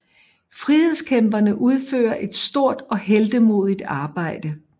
Frihedskæmperne udfører et stort og heltemodigt arbejde